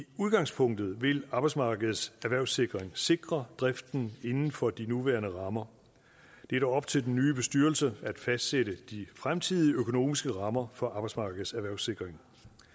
udgangspunktet vil arbejdsmarkedets erhvervssikring sikre driften inden for de nuværende rammer det er dog op til den nye bestyrelse at fastsætte de fremtidige økonomiske rammer for arbejdsmarkedets erhvervssikring